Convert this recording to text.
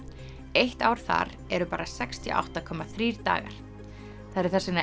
eitt ár þar er bara sextíu og átta komma þrír dagar það eru þess vegna